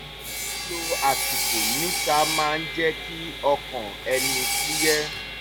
lílo àsìkò níta máa ń jẹ́ kí ọkàn ẹni fúyẹ́